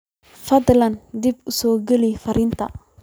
fadlan dib u soo geli fariintan